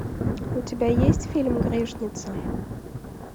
у тебя есть фильм грешница